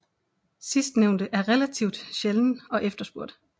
Sidstnævnte er relativt sjælden og efterspurgt